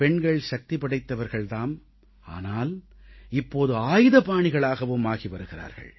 பெண்கள் சக்தி படைத்தவர்கள் தாம் ஆனால் இப்போது ஆயுதபாணிகளாகவும் ஆகி வருகிறார்கள்